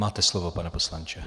Máte slovo, pane poslanče.